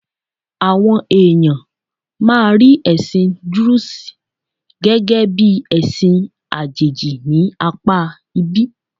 Àwọn èèyàn máa rí ẹ̀sìn Druze gẹ́gẹ́ bí ẹ̀sì àjẹ̀jì ní apá ibí.